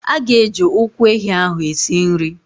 A ga-eji ụkwụ ehi ahụ esi nri.